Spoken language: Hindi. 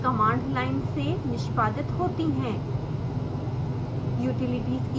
utilities कमांड लाइन से निष्पादित होती हैं